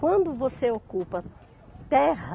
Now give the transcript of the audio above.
Quando você ocupa terra,